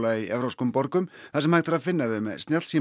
í evrópskum borgum þar sem hægt að finna þau með